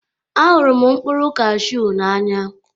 Ahụrụ m mkpụrụ cashew n'anya.